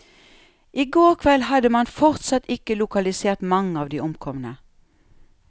I går kveld hadde man fortsatt ikke lokalisert mange av de omkomne.